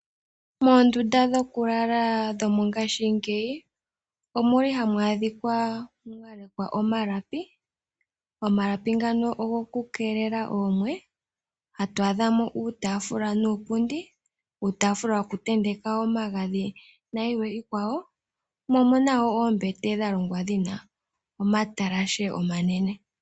Moondunda dhokulala mongashingeyi ohamu adhika mwa mangelwa oonete dhokukeelela oomwe. Ohamu adhika wo uutaafula nuupundi, uutafula wokutenteka omagadhi nayilwe. Omu na wo oombete dha longwa dhi na omatalashe omanene.